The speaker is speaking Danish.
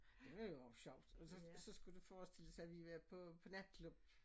Det var sjovt så så skulle det forestille sig vi havde været på på natklub